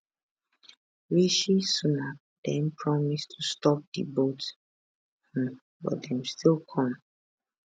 rishi sunak den promise to stop di boats um but dem still come